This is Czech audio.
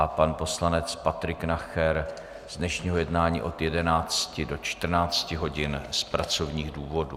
A pan poslanec Patrik Nacher z dnešního jednání od 11 do 14. hodin z pracovních důvodů.